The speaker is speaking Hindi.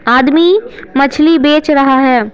आदमी मछली बेच रहा है।